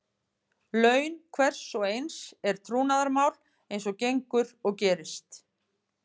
Laun hvers og eins er trúnaðarmál eins og gengur og gerist.